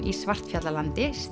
í Svartfjallalandi